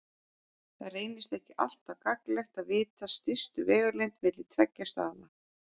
það reynist ekki alltaf gagnlegt að vita stystu vegalengd milli tveggja staða